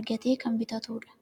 argatee kan bitatuudha.